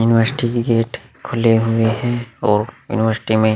university के gate खुले हुए हैं और यूनिवर्सिटी में --